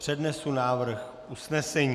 Přednesu návrh usnesení.